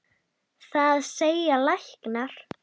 Það segja læknar.